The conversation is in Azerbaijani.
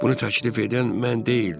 Bunu təklif edən mən deyildim.